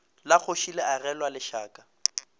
la kgoši le agelwa lešaka